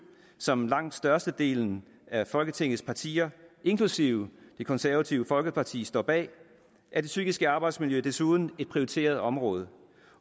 som langt størstedelen af folketingets partier inklusive det konservative folkeparti står bag er det psykiske arbejdsmiljø desuden et prioriteret område